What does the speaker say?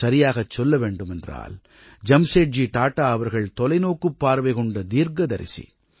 சரியாகச் சொல்ல வேண்டுமென்றால் ஜம்சேட்ஜி டாடா அவர்கள் தொலைநோக்குப் பார்வை கொண்ட தீர்க்கதரிசி